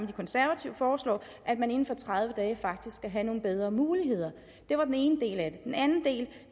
de konservative foreslår inden for tredive dage faktisk skal have nogle bedre muligheder det var den ene del af